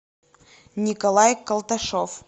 николай колташев